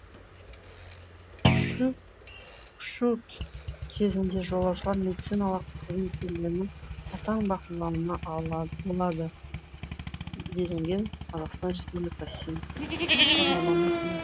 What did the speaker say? ұшу кезінде жолаушылар медициналық қызметкерлердің қатаң бақылауында болады делінген қазақстан республика сім хабарламасында